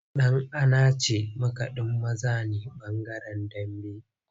Dan’anace makadin maza ne bangaren Dambe.